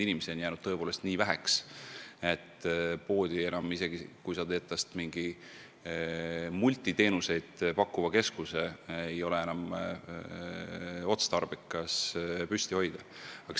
Inimesi on jäänud tõepoolest nii väheks, et poodi, isegi kui sa teed tast mingi multiteenuseid pakkuva keskuse, ei ole enam otstarbekas pidada.